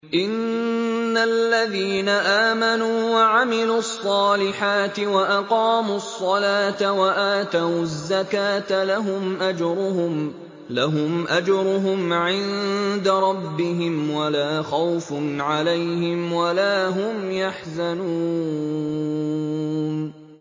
إِنَّ الَّذِينَ آمَنُوا وَعَمِلُوا الصَّالِحَاتِ وَأَقَامُوا الصَّلَاةَ وَآتَوُا الزَّكَاةَ لَهُمْ أَجْرُهُمْ عِندَ رَبِّهِمْ وَلَا خَوْفٌ عَلَيْهِمْ وَلَا هُمْ يَحْزَنُونَ